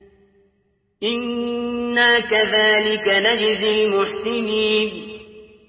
إِنَّا كَذَٰلِكَ نَجْزِي الْمُحْسِنِينَ